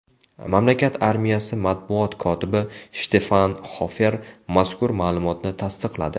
Mamlakat armiyasi matbuot kotibi Shtefan Xofer mazkur ma’lumotni tasdiqladi.